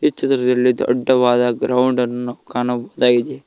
ಈ ಚಿತ್ರದಲ್ಲಿ ದೊಡ್ಡವಾದ ಗ್ರೌಂಡ್ ಅನ್ನು ಕಾಣಬಹುದಾಗಿದೆ.